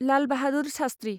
Lal Bahadur Shastri